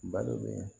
Balo be